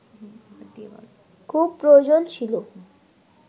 খুব প্রয়োজন ছিল